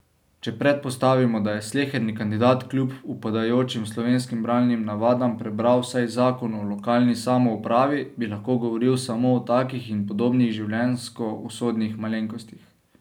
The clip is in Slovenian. Če predpostavimo, da je sleherni kandidat kljub upadajočim slovenskim bralnim navadam prebral vsaj zakon o lokalni samoupravi, bi lahko govoril samo o takih in podobnih življenjsko usodnih malenkostih.